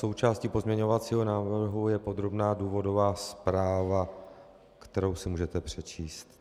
Součástí pozměňovacího návrhu je podrobná důvodová zpráva, kterou si můžete přečíst.